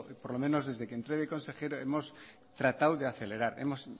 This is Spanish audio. por lo menos desde que entré de consejero hemos tratado de acelerar hemos